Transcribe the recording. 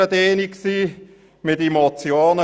Wir behandelten die Motionen.